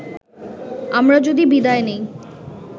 আমরা যদি বিদায় নেই